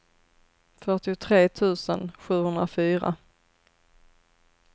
fyrtiotre tusen sjuhundrafyra